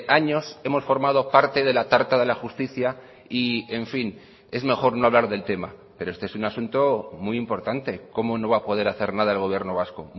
años hemos formado parte de la tarta de la justicia y en fin es mejor no hablar del tema pero este es un asunto muy importante cómo no va a poder hacer nada el gobierno vasco